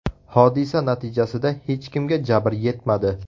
Hodisa natijasida hech kimga jabr yetmadi.